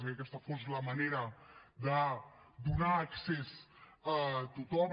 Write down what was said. i que aquesta fos la manera de donar accés a tothom